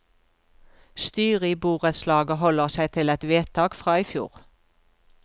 Styret i borettslaget holder seg til et vedtak fra i fjor.